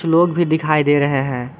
लोग भी दिखाई दे रहे हैं।